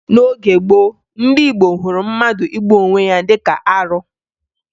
N'oge gboo, ndị Igbo hụrụ mmadụ igbu onwe ya dịka arụ